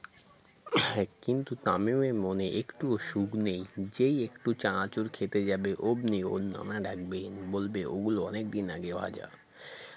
কিন্তু তামিমের মনে একটুও সুখ নেই যেই একটু চানাচুর খেতে যাবে অমনি ওর নানা ডাকবেন বলবে ওগুলো অনেকদিন আগে ভাজা BREATHE